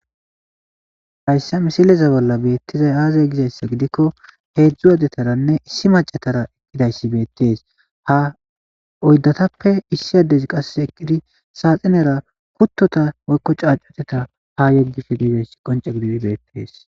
Hayssa misileza bolla bettizay aaze giizayssa giidikko heezhzhu addetaranne issi macay diizaysi bettes ha oyddatappe issi addezi eqqidi qasse saaxxinera kuuttota woykko caacotetta ha yeggishe diizayssi qoncce giididi bettes.